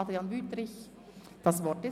Adrian Wüthrich, das Wort ist Ihnen.